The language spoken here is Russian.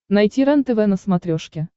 найти рентв на смотрешке